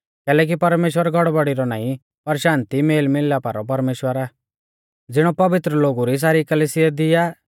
कैलैकि परमेश्‍वर गड़बड़ी रौ नाईं पर शान्ति मेलमिलापा रौ परमेश्‍वर आ ज़िणौ पवित्र लोगु री सारी कलिसिया दी आ